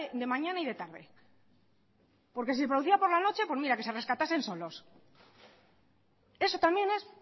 de mañana y de tarde porque si se producía por la noche pues mira que se rescatasen solos eso también es